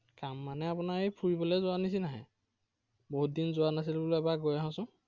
কাম মানে আপোনাৰ এই ফুৰিবলৈ যোৱাৰ নিচিনাহে। বহুত দিন যোৱা নাছিলো বোলো এবাৰ গৈ আহোচোন।